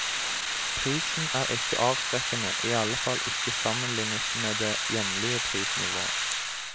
Prisen er ikke avskrekkende, i alle fall ikke sammenlignet med det hjemlige prisnivået.